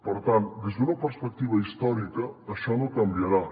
per tant des d’una perspectiva històrica això no canviarà